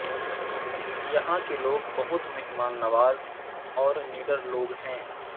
یہاں کے لوگ بہت مہمان نواز اور نڈر لوگ ہیں